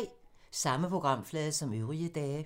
Samme programflade som øvrige dage